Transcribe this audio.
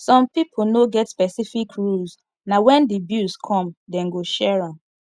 some pipo no get specific rules na when di bills come dem go share am